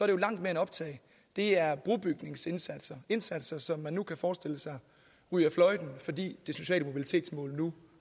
jo langt mere end optag det er brobygningsindsatser indsatser som man nu kan forestille sig ryger fløjten fordi det sociale mobilitetsmål nu